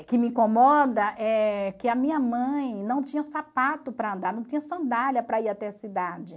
O que me incomoda é que a minha mãe não tinha sapato para andar, não tinha sandália para ir até a cidade.